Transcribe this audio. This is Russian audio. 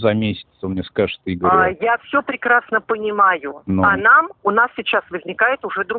за месяц вы мне скажите игоря я все прекрасно понимаю ну а нам у нас сейчас возникает уже дру